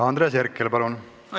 Andres Herkel, palun!